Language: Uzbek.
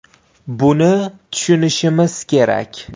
Buni tushunishimiz kerak.